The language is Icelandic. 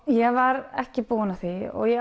ég var ekki búin að því og